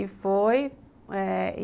E foi eh